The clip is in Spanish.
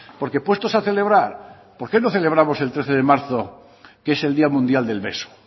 porque puestos a celebrar por qué no celebramos el trece de marzo que es el día mundial del beso